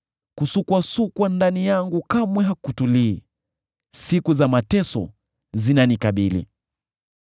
Kusukwasukwa ndani yangu kamwe hakutulii; siku za mateso zinanikabili.